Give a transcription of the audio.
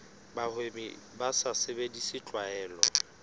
bahwebi ba sa sebedise tlwaelo